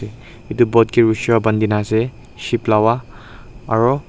etu boat ship lawa aru.